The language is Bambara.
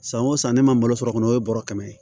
San o san ne ma malo sɔrɔ kɔni o ye bɔrɔ kɛmɛ ye